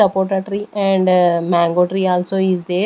Sapota tree and mango tree also is there.